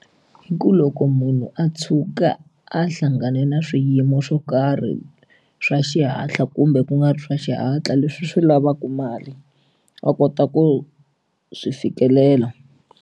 I ku loko munhu a tshuka a hlangane na swiyimo swo karhi swa xihatla kumbe ku nga ri swa xihatla leswi swi lavaka mali a kota ku swi fikelela.